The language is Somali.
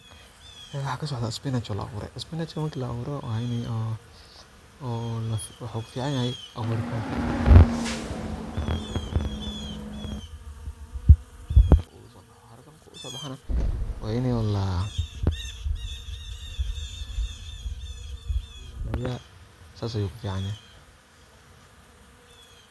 Halkan waxaa kasocda spinach la abure marki la aburo wuxuu ku fican yahay haraka ayu sobaxaya waa ini cunto lagu cuno sas ayu uficanyahay.